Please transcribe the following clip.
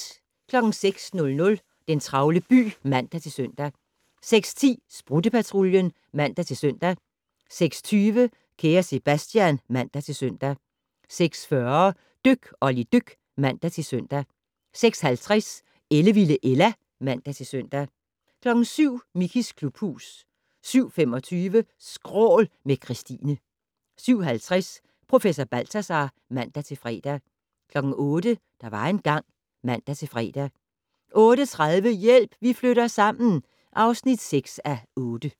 06:00: Den travle by (man-søn) 06:10: Sprutte-Patruljen (man-søn) 06:20: Kære Sebastian (man-søn) 06:40: Dyk Olli dyk (man-søn) 06:50: Ellevilde Ella (man-søn) 07:00: Mickeys klubhus 07:25: Skrål - med Kristine 07:50: Professor Balthazar (man-fre) 08:00: Der var engang ... (man-fre) 08:30: Hjælp, vi flytter sammen (6:8)